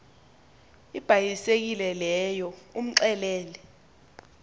ibhayisekile leyo umxelele